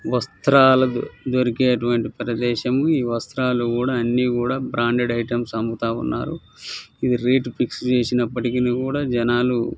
వస్త్రాలు దొరికెటువంటి ప్రదేశము ఈ వస్త్రాలు అన్ని కూడా బ్రాండెడ్ ఐటమ్స్ అమ్ముతావునరు ఇది రేట్ ఫిక్స్ చేసినపటికి కూడా జనాలు --